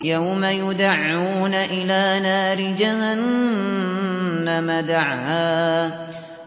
يَوْمَ يُدَعُّونَ إِلَىٰ نَارِ جَهَنَّمَ دَعًّا